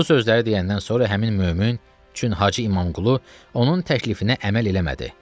Bu sözləri deyəndən sonra həmin mömin, çün Hacı İmamqulu onun təklifinə əməl eləmədi.